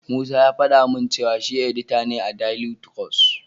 Musa ya faɗa min cewa shi edita ne a daili tirus.